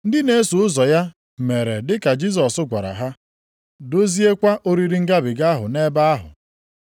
Ndị na-eso ụzọ ya mere dị ka Jisọs gwara ha, doziekwa oriri Ngabiga ahụ nʼebe ahụ.